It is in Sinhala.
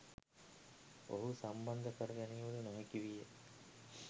ඔහු සම්බන්ධ කර ගැනීමට නොහැකි විය.